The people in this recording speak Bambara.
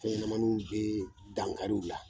Fɛnɲamanninw bɛ dan kariw la.